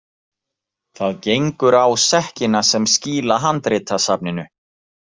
Það gengur á sekkina sem skýla handritasafninu.